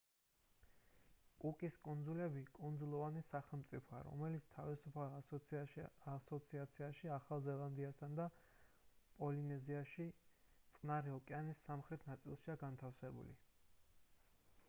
კუკის კუნძულები კუნძულოვანი სახელმწიფოა რომელიც თავისუფალ ასოციაციაშია ახალ ზელანდიასთან და პოლინეზიაში წყნარი ოკეანის სამხრეთ ნაწილშია განთავსებული